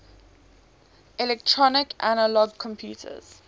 electronic analog computers